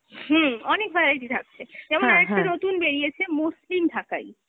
হুম, অনেক variety থাকছে, যেমন আর একটা নতুন বেরিয়েছে মসলিন ঢাকাই,